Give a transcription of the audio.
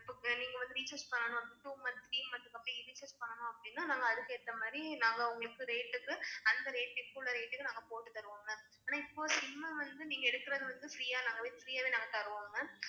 நீங்க வந்து recharge பண்ணனும், அப்படினா two months, three months அப்படி recharge பண்ணனும் அப்படின்னா, நாங்க அதுக்கு ஏத்த மாதிரி நாங்க உங்களுக்கு rate க்கு அந்த rate க்கு இப்ப உள்ள rate க்கு நாங்க போட்டு தருவோம் ma'am ஆனா இப்ப SIM அ வந்து நீங்க எடுக்கிறது வந்து free யாவே நாங்க free யாவே நாங்க தருவோம் ma'am.